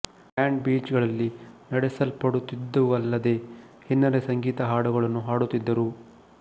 band beach ಗಳಲ್ಲಿ ನಡೆಸಲ್ಪಡುತ್ತಿದ್ದುವಲ್ಲದೇ ಹಿನ್ನೆಲೆ ಸಂಗೀತ ಹಾಡುಗಳನ್ನು ಹಾಡುತ್ತಿದ್ದರು